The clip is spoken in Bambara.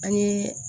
An ye